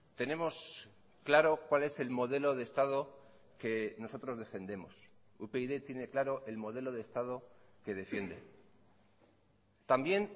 tenemos claro cuál es el modelo de estado que nosotros defendemos upyd tiene claro el modelo de estado que defiende también